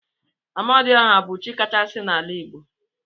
Amadi ọha bu chi kachasi na ala igbo.